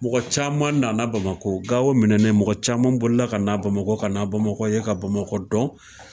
Mɔgɔ caman nana Bamako, Gawo minɛnen mɔgɔ caman bolila ka na Bamakɔ, ka na Bamakɔ ye ka Bamakɔ dɔn